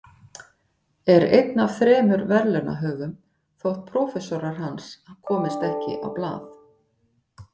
Er einn af þremur verðlaunahöfum þótt prófessorar hans komist ekki á blað.